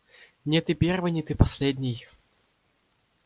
не ты первый не ты последний